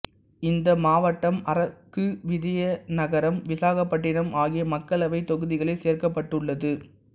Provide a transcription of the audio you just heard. இந்த மாவட்டம் அரக்கு விஜயநகரம் விசாகப்பட்டினம் ஆகிய மக்களவைத் தொகுதிகளில் சேர்க்கப்பட்டுள்ளது